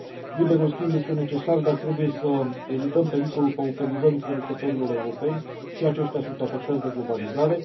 Liberul schimb este necesar, dar trebuie să evităm pericolul pauperizării producătorilor europeni și aceștia sunt afectați de globalizare.